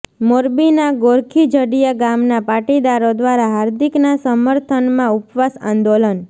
મોરબીના ગોરખીજડીયા ગામના પાટીદારો દ્વારા હાર્દિકના સમર્થનમાં ઉપવાસ આંદોલન